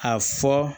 A fɔ